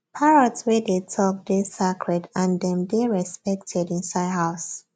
parrot wey dey talk dey sacred and dem dey respected inside house